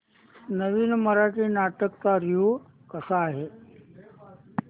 नवीन मराठी नाटक चा रिव्यू कसा आहे